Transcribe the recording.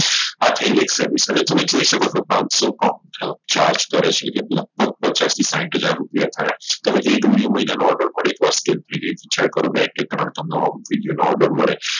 આ થઇ ગઈ એક Service અને તમે જોઈ શકો છો સો form charge કરે છે કે લગભગ પચાસ થી સાહીઠ હાજર રૂપિયા થાય હવે video મહિનાનો order પડે હવે વિચાર કરો કે બે કે ત્રણ video મહિનાનો order મળે